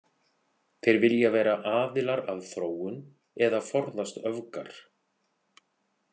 Þeir vilja vera „aðilar að þróun“ eða „forðast öfgar“.